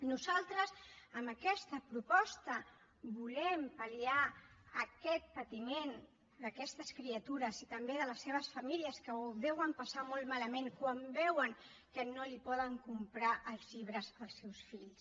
nosaltres amb aquesta proposta volem pal·liar aquest patiment d’aquestes criatures i també de les seves famílies que ho deuen passar molt malament quan veuen que no poden comprar els llibres als seus fills